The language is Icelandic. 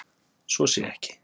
Svo sé ekki